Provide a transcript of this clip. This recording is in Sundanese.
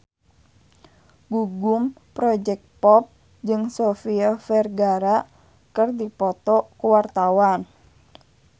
Gugum Project Pop jeung Sofia Vergara keur dipoto ku wartawan